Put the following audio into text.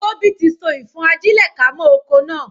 Tóbi tí so ìfọ́n-ajílẹ̀-ká mọ́ okò náà.